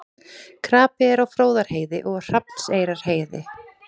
Krapi er á Fróðárheiði og Hrafnseyrarheiði